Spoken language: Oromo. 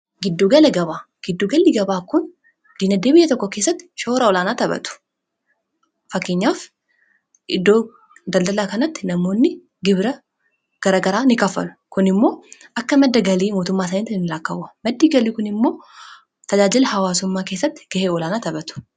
giddu gala gabaa giddu gallii gabaa kun diingdee biiyya tokko keessatti shoora olaanaa taphatu. faakkeenyaaf iddoo daldalaa kanatti namoonni gibira garagaraa in kafallu. kun immoo akka madda galii mootummaa isaanitti laakkawwa maddi galii kun immoo tajaajila hawaasummaa keessatti gahee olaanaa taphatu.